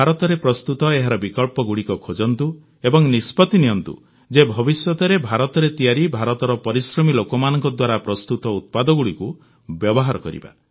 ଭାରତରେ ପ୍ରସ୍ତୁତ ଏହାର ବିକଳ୍ପଗୁଡ଼ିକ ଖୋଜନ୍ତୁ ଏବଂ ନିଷ୍ପତ୍ତି ନିଅନ୍ତୁ ଯେ ଭବିଷ୍ୟତରେ ଭାରତରେ ତିଆରି ଭାରତର ପରିଶ୍ରମୀ ଲୋକମାନଙ୍କ ଦ୍ୱାରା ପ୍ରସ୍ତୁତ ଉତ୍ପାଦଗୁଡ଼ିକୁ ବ୍ୟବହାର କରିବା